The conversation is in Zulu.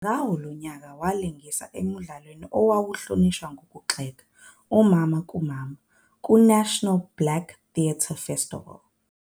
Ngawo lowo nyaka, walingisa emdlalweni owawuhlonishwa ngokugxeka "uMama kuMama" kuNational Black Theatre Festival.